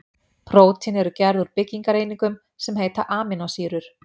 Prótín eru gerð úr byggingareiningum sem heita amínósýrur.